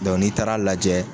n'i taara lajɛ